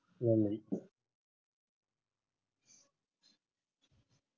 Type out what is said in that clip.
நன்றி